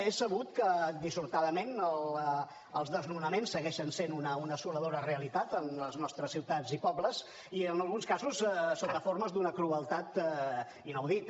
és sabut que dissortadament els desnonaments segueixen sent una assoladora realitat en les nostres ciutats i pobles i en alguns casos sota formes d’un crueltat inaudita